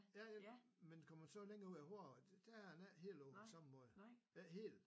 Ja ja men kommer man så længere ud af hovedvejen der er den ikke helt på samme måde ikke helt